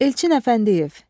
Elçin Əfəndiyev.